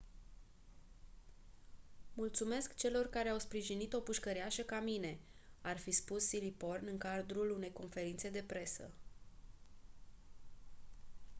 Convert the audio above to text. mulțumesc celor care au sprijinit o pușcăriașă ca mine ar fi spus siriporn în cadrul unei conferințe de presă